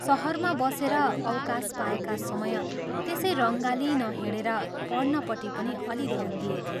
शहरमा बसेर अवकाश पाएका समय त्यसै रङ्गालिई नहिंडेर पढ्नपट्टि पनि अलि ध्यान दिएथे।